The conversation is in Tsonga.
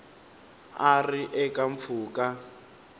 a a ri eka mpfhuka